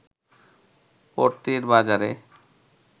পড়তির বাজারে